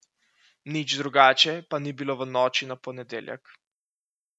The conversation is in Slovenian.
Nič drugače pa ni bilo v noči na ponedeljek.